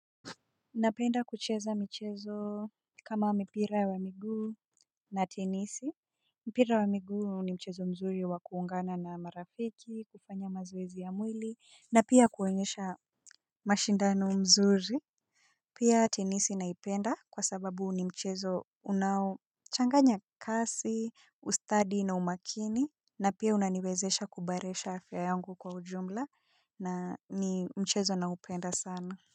Napenda kucheza michezo kama mipira wa miguu na tenisi. Mpira wa miguu ni mchezo mzuri wa kuungana na marafiki, kufanya mazoezi ya mwili na pia kuonyesha mashindano mzuri. Pia tenisi naipenda kwa sababu ni mchezo unaochanganya kasi, ustadi na umakini na pia unaniwezesha kuboresha afya yangu kwa ujumla na ni mchezo naupenda sana.